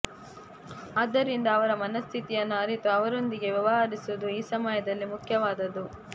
ಆದ್ದರಿಂದ ಅವರ ಮನಸ್ಥಿತಿಯನ್ನು ಅರಿತು ಅವರೊಂದಿಗೆ ವ್ಯವಹರಿಸುವುದು ಈ ಸಮಯದಲ್ಲಿ ಮುಖ್ಯವಾದದ್ದು